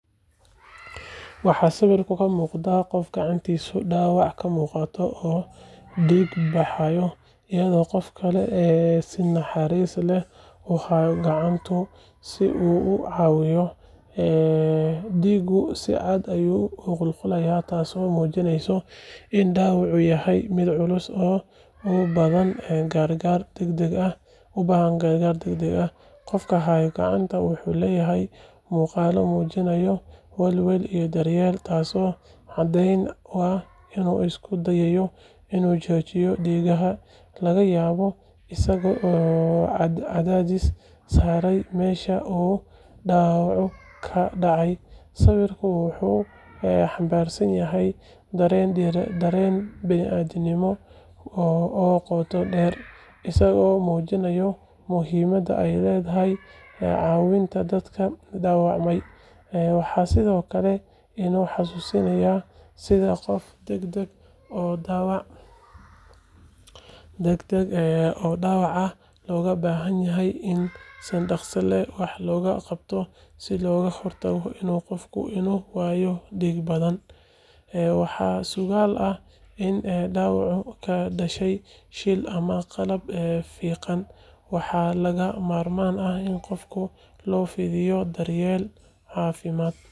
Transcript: Waxaa sawirka ka muuqda qof gacantiisa dhaawac ka muuqdo oo dhiig baxaya, iyadoo qof kale si naxariis leh u haya gacanta si uu u caawiyo. Dhiiggu si cad ayuu u qulqulayaa, taasoo muujinaysa in dhaawacu yahay mid culus oo u baahan gargaar degdeg ah. Qofka haya gacanta wuxuu leeyahay muuqaalo muujinaya welwel iyo daryeel, taasoo caddeyn u ah in uu isku dayayo in uu joojiyo dhiigbaxa, laga yaabo isagoo cadaadis saaraya meesha uu dhaawacu ka dhacay. Sawirku wuxuu xambaarsan yahay dareen bini’aadantinimo oo qoto dheer, isagoo muujinaya muhiimadda ay leedahay caawinta dadka dhaawacmay. Waxay sidoo kale inoo xasuusinaysaa sida xaalad degdeg ah oo dhaawac ah looga baahan yahay in si dhaqso leh wax looga qabto si looga hortago in qofku uu ku waayo dhiig badan. Waxaa suuragal ah in dhaawacu ka dhashay shil ama qalab fiiqan, waxaana lagama maarmaan ah in qofka loo fidiyo daryeel caafimaad.